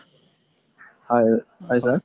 হয়